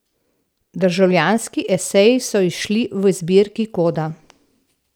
Državljanski eseji so izšli v zbirki Koda.